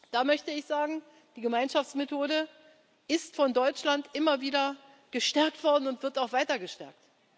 Da möchte ich sagen Die Gemeinschaftsmethode ist von Deutschland immer wieder gestärkt worden und wird auch weiter gestärkt.